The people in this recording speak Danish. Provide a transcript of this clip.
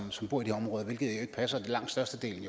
som bor i de områder hvilket jo ikke passer i langt størstedelen